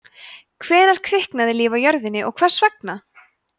hvenær kviknaði líf á jörðinni og hvers vegna